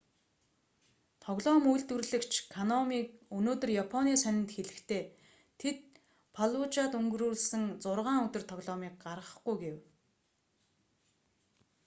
тоглоом үйлдвэрлэгч конами өнөөдөр японы сонинд хэлэхдээ тэд фаллужад өнгөрүүлсэн зургаан өдөр тоглоомыг гаргахгүй гэв